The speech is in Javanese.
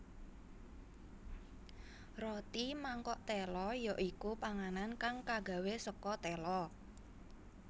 Roti mangkok téla ya iku panganan kang kagawe saka téla